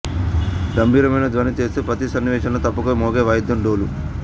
గంభీరమైన ధ్వని చేస్తూ ప్రతి సన్నివేషంలో తప్పక మోగే వాయిద్యం డోలు